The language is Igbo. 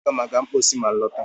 Aga m eje mposi ma m lọta